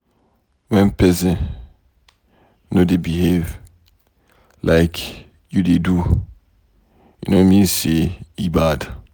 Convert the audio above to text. wen pesin no dey behave like you dey do, e no mean say e bad.